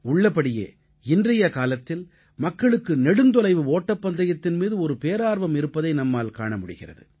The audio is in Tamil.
உள்ளபடியே இன்றைய காலத்தில் மக்களுக்கு நெடுந்தொலைவு ஓட்டப்பந்தயத்தின் மீது ஒரு பேரார்வம் இருப்பதை நம்மால் காண முடிகிறது